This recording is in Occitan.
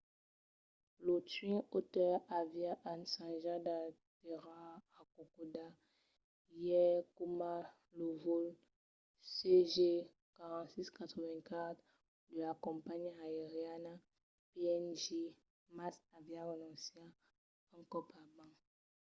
lo twin otter aviá ensajat d’aterrar a kokoda ièr coma lo vòl cg4684 de la companhiá aeriana png mas aviá renonciat un còp abans